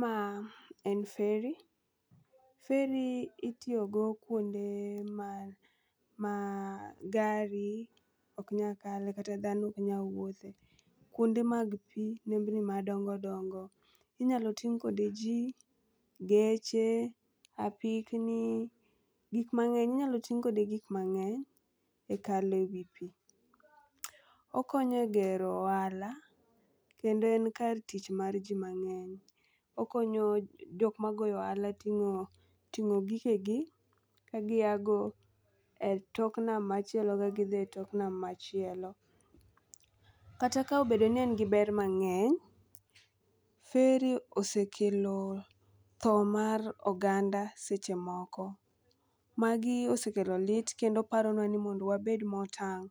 Ma en ferry. Ferry itiyogo kwonde ma gari ok nyal kale kata dhano ok nyal wuothe, kwonde mag pi, nembni madongodongo. Inyalo ting' kode ji ,geche ,apikni, gik mang'eny. Inyalo ting' kode gik mang'eny e kalo e wi pii. Okonyo e gero ohala, kendo en kar tich mar ji mang'eny. Okonyo jok magoyo ohala ting'o gigegi ka giago e tok nam machielo ka gidhi e tok nam machielo. Kata ka obedo ni en gi ber mang'eny, Ferry osekelo tho mar oganda seche moko. Magi osekelo lit kendo paronwa ni mondo wabed motang'